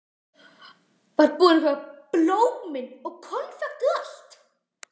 Var búinn að kaupa blómin og konfektið og allt.